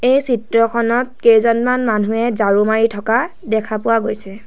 এই চিত্ৰখনত কেইজনমান মানুহে ঝাৰু মাৰি থকা দেখা পোৱা গৈছে।